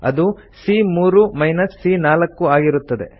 ಅದು ಸಿಎ3 ಮೈನಸ್ ಸಿಎ4 ಆಗಿರುತ್ತದೆ